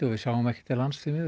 við sjáum ekki til lands